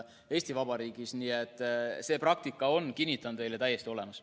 Nii et kinnitan teile, see praktika on täiesti olemas.